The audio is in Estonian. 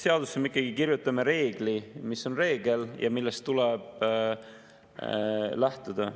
Seadusesse me ikkagi kirjutame reegli, mis on reegel ja millest tuleb lähtuda.